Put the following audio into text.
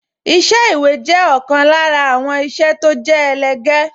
Iṣẹ́ ìwé jẹ́ ọ̀kan lára àwọn iṣẹ́ tó jẹ́ ẹlẹgẹ́